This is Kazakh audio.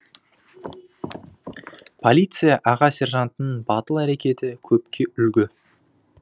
полиция аға сержантының батыл әрекеті көпке үлгі